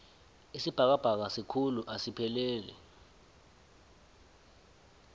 isibhakabhaka sikhulu asipheleli